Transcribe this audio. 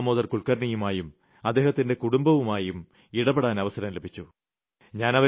ചന്ദ്രകാന്ത ദാമോദർ കുൽക്കർണിയുമായും അദ്ദേഹത്തിന്റെ കുടുംബവുമായും ഇടപെടാൻ അവസരം ലഭിച്ചു